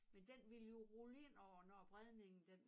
Men den ville jo rulle ind over når bredningen den